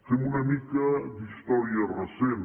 fem una mica d’història recent